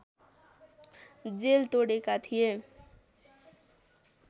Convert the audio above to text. jail तोडेका थिए